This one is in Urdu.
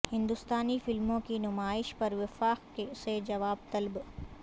ہندوستانی فلموں کی نمائش پر وفاق سے جواب طلب